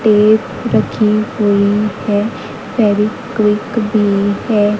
Tape रखी हुई है। फेविक्विक भी है।